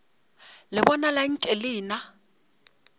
le bonala nke le na